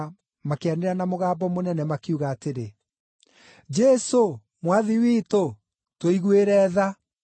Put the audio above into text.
makĩanĩrĩra na mũgambo mũnene, makiuga atĩrĩ, “Jesũ, Mwathi witũ, tũiguĩre tha!”